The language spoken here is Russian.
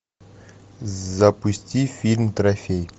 запусти фильм трофей